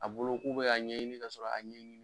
A bolo k'u be ka ɲɛɲini ka sɔrɔ a ɲɛɲini